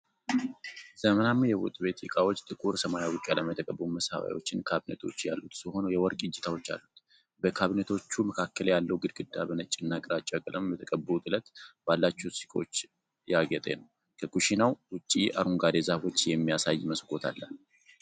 ዘመናዊ የወጥ ቤት ዕቃዎች ጥቁር ሰማያዊ ቀለም የተቀቡ መሳቢያዎችና ካቢኔቶች ያሉት ሲሆን የወርቅ እጀታዎች አሉት። በካቢኔቶቹ መካከል ያለው ግድግዳ በነጭና ግራጫ ቀለም በተቀቡ ጥለት ባላቸው ሰቆች ያጌጠ ነው። ከኩሽናው ውጭ አረንጓዴ ዛፎች የሚያሳይ መስኮት አለ።